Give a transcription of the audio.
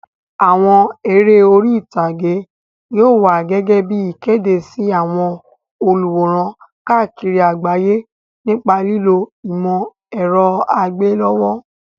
Àwọn eré orí ìtàgé yóò wá gẹ́gẹ́ bí ìkéde sí àwọn olùwòran káàkiri àgbáyé nípa lílo ìmọ̀ ẹ̀rọ àgbéléwò.